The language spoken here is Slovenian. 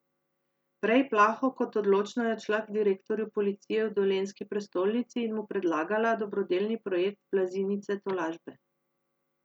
Prej plaho kot odločno je odšla k direktorju policije v dolenjski prestolnici in mu predlagala dobrodelni projekt Blazinice tolažbe.